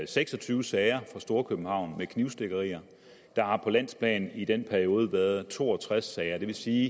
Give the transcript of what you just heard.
seks og tyve sager i storkøbenhavn med knivstikkerier der har på landsplan i den periode været to og tres sager det vil sige